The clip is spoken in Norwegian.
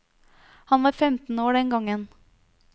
Han var femten år den gangen.